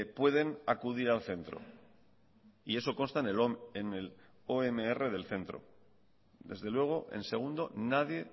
pueden acudir al centro y eso consta en el omr del centro desde luego en segundo nadie